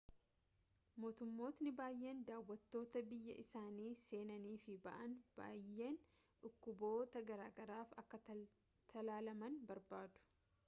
mootummootni baayeen daawwattoota biyya isaanii seenanii fi ba'an baayyeen dhukkubboota garaagaraaf akka talaalaman barbaadu